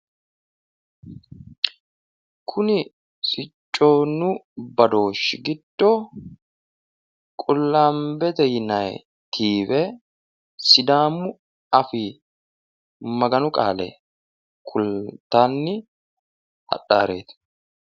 kuni siccunna badooshshu giddo qullaambete yinayi tv sidaamu afii Maganu qaale kultanni hadhannoreeti.